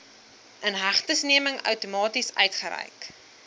inhegtenisneming outomaties uitgereik